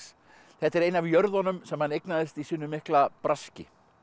þetta er ein af jörðunum sem hann eignaðist í sínu mikla braski